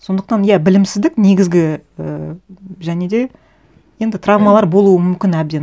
сондықтан иә білімсіздік негізгі ііі және де енді травмалар болуы мүмкін әбден